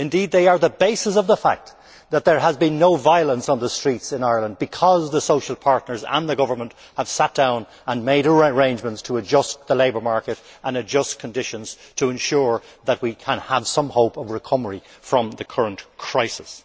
Indeed, they are the basis of the fact that there has been no violence on the streets in Ireland it is because the social partners and the government have sat down and made arrangements to adjust the labour market and adjust conditions to ensure that we can have some hope of recovery from the current crisis.